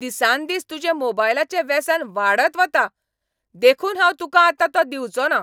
दिसांदिस तुजें मोबायलाचें वेसन वाडत वता, देखून हांव तुकांआतां तो दिवंचोना.